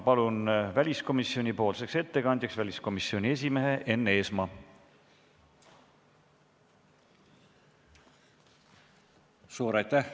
Palun väliskomisjoni ettekandjaks väliskomisjoni esimehe Enn Eesmaa.